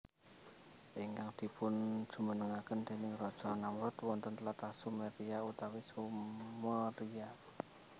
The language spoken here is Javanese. Ingkang dipunjumenengaken déning raja Namrudz wonten tlatah Sumeria utawi Sumeria